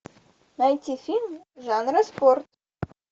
найти фильм жанра спорт